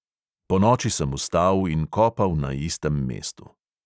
Ponoči sem vstal in kopal na istem mestu.